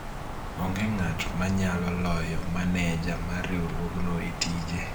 onge ng'at manyalo loyo maneja mar riwruogno e tije